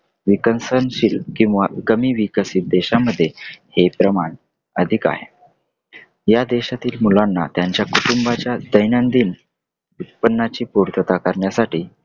विकसनशील किंवा कमी विकसित देशामदे हे प्रमाण अधिक आहे या देशातील मुलांना त्यांच्या कुटुंबाच्या दैंनदिन उत्पन्नाची पूर्तता करण्यासाठी